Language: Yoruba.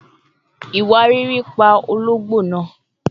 Iwariiri pa ologbo naa